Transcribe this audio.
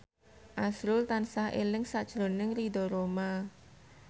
azrul tansah eling sakjroning Ridho Roma